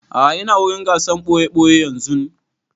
A'a ina wurin gasar ɓoye-ɓoye yanzun